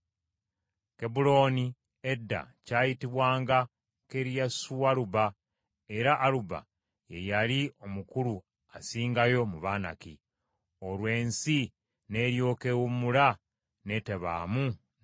Kebbulooni edda kyayitibwanga Kiriasualuba era Aluba ye yali omukulu asingayo mu Banaki. Olwo ensi n’eryoka ewummula n’etebaamu ntalo.